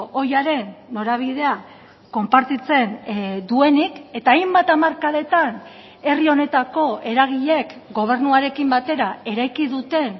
ohiaren norabidea konpartitzen duenik eta hainbat hamarkadetan herri honetako eragileek gobernuarekin batera eraiki duten